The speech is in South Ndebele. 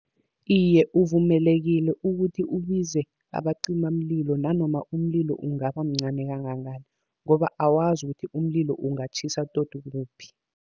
Iye, uvumelekile ukuthi ubize abacimamlilo nanoma umlilo ungaba mncani kangangani, ngoba awazi ukuthi umlilo ungatjhisa tot kuphi.